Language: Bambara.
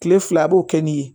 Kile fila a b'o kɛ ni ye